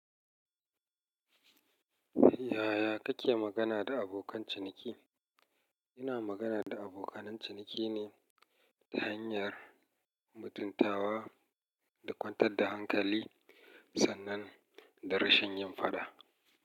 Yaya kake magana da abokan ciniki? Ina magana da abokan ciniki ne ta hanyar mutuntawa da kwantar da hankali sannan da rashin yin fada.